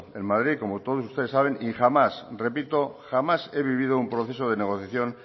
en madrid como todos ustedes saben y jamás repito jamás he vivido un proceso de negociación